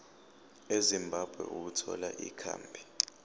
ezimbabwe ukuthola ikhambi